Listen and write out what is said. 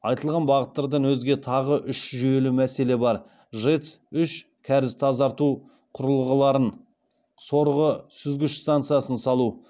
айтылған бағыттардан өзге тағы үш жүйелі мәселе бар жэц үш кәріз тазарту құрылғыларын сорғы сүзгіш станциясын салу